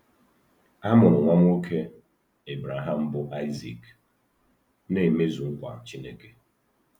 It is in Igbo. A mụrụ nwa nwoke Ebreham bụ́ Aịzik, na-emezu nkwa Chineke.